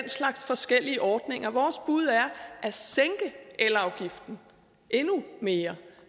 slags forskellige ordninger vores bud er at sænke elafgiften endnu mere